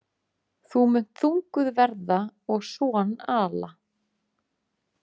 Þú munt þunguð verða og son ala.